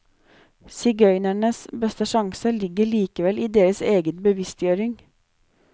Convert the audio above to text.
Sigøynernes beste sjanse ligger likevel i deres egen bevisstgjøring.